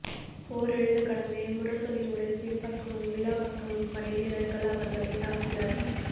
போர் எழுந்த கணமே முரசொலியுடன் பின்பக்கமும் விலாப்பக்கமும் படைவீரர்கள் அவர்களை தாக்கினர்